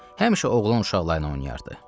Həmişə oğlan uşaqları ilə oynayardı.